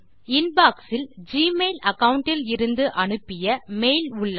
inbox இல் Gmail account இலிருந்து அனுப்பிய மெயில் உள்ளது